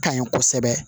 Ka ɲi kosɛbɛ